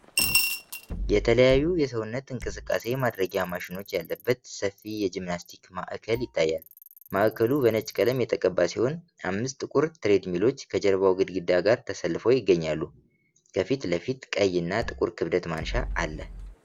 የተለያዩ የሰውነት እንቅስቃሴ ማድረጊያ ማሽኖች ያለበት ሰፊ የጂምናስቲክ ማዕከል ይታያል። ማዕከሉ በነጭ ቀለም የተቀባ ሲሆን፣ አምስት ጥቁር ትሬድሚሎች ከጀርባው ግድግዳ ጋር ተሰልፈው ይገኛሉ። ከፊት ለፊት፣ ቀይ እና ጥቁር የክብደት ማንሻ አለ